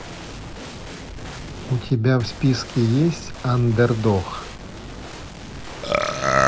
у тебя в списке есть андердог